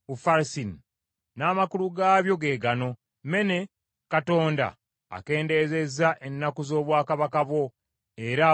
“N’amakulu gaabyo ge gano: “ Mene: Katonda akendezezza ennaku z’obwakabaka bwo era abukomezza.